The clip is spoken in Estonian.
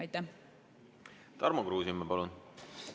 Tarmo Kruusimäe, palun!